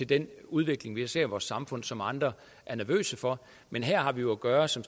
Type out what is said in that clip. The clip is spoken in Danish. den udvikling vi ser i vores samfund og som andre er nervøse for men her har vi jo at gøre som